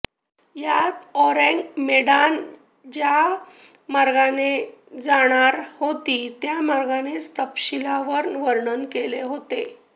यात Ourang Medan ज्या मार्गाने जाणार होती त्या मार्गाचं तपशीलवार वर्णन केलं होतं